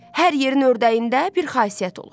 Hər yerin ördəyində bir xasiyyət olur.